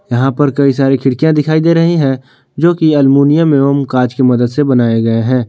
यहां पर कई सारी खिड़कियां दिखाई दे रही है जो की अल्मुनियम एवं कांच की मदद से बनाए गए हैं।